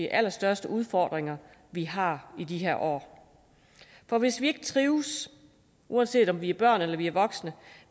allerstørste udfordringer vi har i de her år for hvis vi ikke trives uanset om vi er børn eller vi er voksne og